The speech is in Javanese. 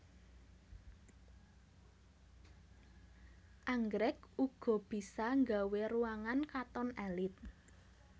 Anggrèk uga bisa nggawé ruangan katon èlit